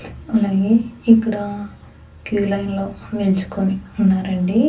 అలాగే ఇక్కడ queue line లో నిల్చుకొని ఉన్నారండి.